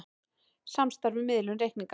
Samstarf um miðlun reikninga